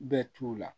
Bɛɛ t'u la